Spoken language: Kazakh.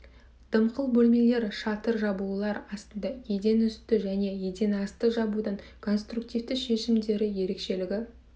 дымқыл бөлмелер шатыр жабулары астында еден үсті және еден асты жабудың конструктивті шешімдері ерекшелігі